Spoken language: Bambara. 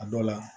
A dɔw la